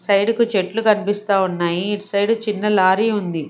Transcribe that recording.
Side కు చెట్లు కనిపిస్తా ఉన్నాయి ఇటు సైడ్ చిన్న లారీ ఉంది.